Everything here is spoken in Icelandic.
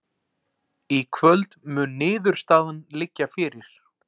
Í kvöld mun niðurstaðan liggja fyrir